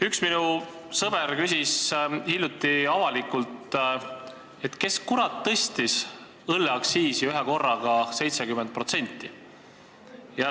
Üks minu sõber küsis hiljuti avalikult, kes kurat tõstis õlleaktsiisi ühekorraga 70%.